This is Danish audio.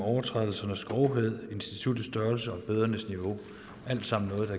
overtrædelsernes grovhed instituttets størrelse og bødernes niveau alt sammen noget